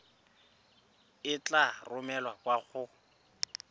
e tla romelwa kwa go